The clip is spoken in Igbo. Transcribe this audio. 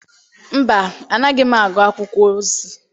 Mba, anaghị m agụ akwụkwọ ozi.